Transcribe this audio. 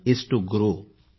माझ्या प्रिय देश बांधवांनो